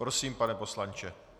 Prosím, pane poslanče.